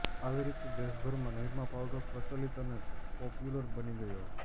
આવી રીતે દેશભરમાં નિરમા પાઉડર પ્રચલિત અને પોપ્યુલર બની ગયો